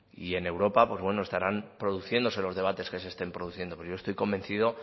y en europa pues bueno estarán produciéndose los debates que se estén produciendo pero yo estoy convencido